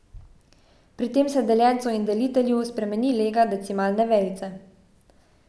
Pri tem se deljencu in delitelju spremeni lega decimalne vejice.